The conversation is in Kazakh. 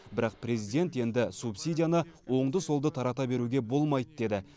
бірақ президент енді субсидияны оңды солды тарата беруге болмайды деді